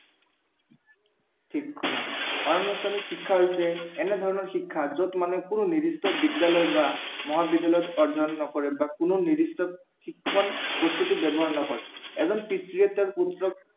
ঠিক শুনা, অনানুষ্ঠানিক শিক্ষা হৈছে এনেধৰণৰ শিক্ষা যত মানে কোনো নিৰ্দিষ্ট বিদ্য়ালয় বা মহাবিদ্য়ালয়ত অধ্য়য়ন নকৰে বা কোনো নিৰ্দিষ্ট শিক্ষক প্ৰস্তুতি ব্য়ৱহাৰ নহয়। এজন পিতৃয়ে তেওঁৰ পুত্ৰক